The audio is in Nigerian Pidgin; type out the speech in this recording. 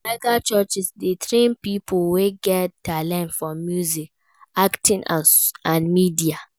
Mega churches de train pipo wey get talent for music, acting and media